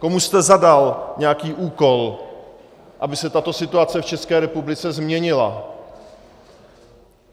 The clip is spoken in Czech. Komu jste zadal nějaký úkol, aby se tato situace v České republice změnila?